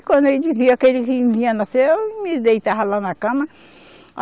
E quando ele dizia que ele ia nascer, eu me deitava lá na cama.